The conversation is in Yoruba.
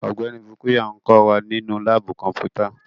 Ọgbẹni Bukuya n kọ wa ninu laabu kọnputa